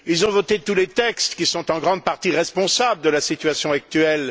Ils ont voté tous les textes qui sont en grande partie responsables de la situation actuelle.